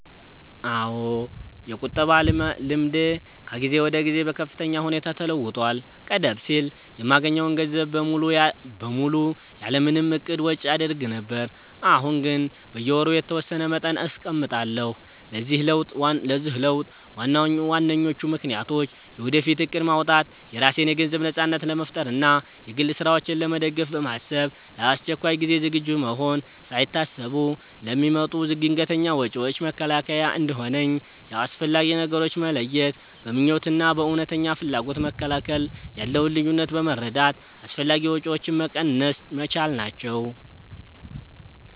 አዎ፣ የቁጠባ ልምዴ ከጊዜ ወደ ጊዜ በከፍተኛ ሁኔታ ተለውጧል። ቀደም ሲል የማገኘውን ገንዘብ በሙሉ ያለ ምንም እቅድ ወጪ አደርግ ነበር፤ አሁን ግን በየወሩ የተወሰነ መጠን አስቀምጣለሁ። ለዚህ ለውጥ ዋነኞቹ ምክንያቶች፦ የወደፊት እቅድ ማውጣት፦ የራሴን የገንዘብ ነጻነት ለመፍጠር እና የግል ስራዎቼን ለመደገፍ በማሰብ፣ ለአስቸኳይ ጊዜ ዝግጁ መሆን፦ ሳይታሰቡ ለሚመጡ ድንገተኛ ወጪዎች መከላከያ እንዲሆነኝ፣ የአስፈላጊ ነገሮች መለየት፦ በምኞት እና በእውነተኛ ፍላጎት መካከል ያለውን ልዩነት በመረዳት አላስፈላጊ ወጪዎችን መቀነስ መቻሌ ናቸው።